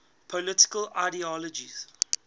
political ideologies